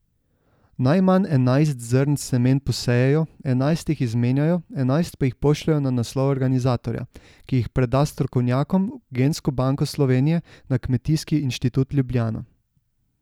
Najmanj enajst zrn semen posejejo, enajst jih izmenjajo, enajst pa jih pošljejo na naslov organizatorja, ki jih preda strokovnjakom v gensko banko Slovenije na Kmetijski inštitut Ljubljana.